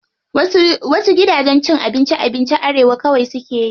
Wasu gidajen cin abincin abinci arewa kawai suke yi.